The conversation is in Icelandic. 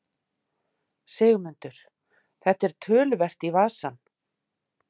Sigmundur: Þetta er töluvert í vasann?